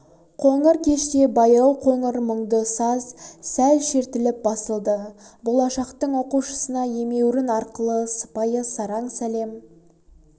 қоңыр кеште баяу қоңыр мұңды саз сәл шертіліп басылды болашақтың оқушысына емеурін арқылы сыпайы сараң сәлем